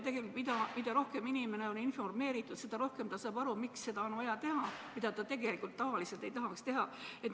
Tegelikult on nii, et mida paremini on inimene informeeritud, seda paremini saab ta aru, miks on vaja teha seda, mida ta tavaliselt teha ei tahaks.